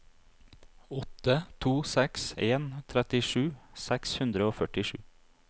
åtte to seks en trettisju seks hundre og førtisju